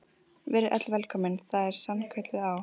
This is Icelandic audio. Verið öll velkomin, það er sannkölluð á.